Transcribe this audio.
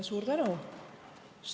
Suur tänu!